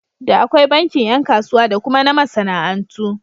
Da akwai bankin ƴan kasuwa da kuma na masana'antu.